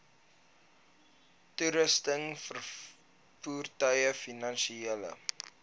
toerusting voertuie finansiële